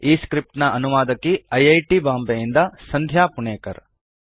ಈ ಸ್ಕ್ರಿಪ್ಟ್ ನ ಅನುವಾದಕಿ ಐ ಐ ಟಿ ಬಾಂಬೆಯಿಂದ ಸಂಧ್ಯಾ ಪುಣೆಕರ್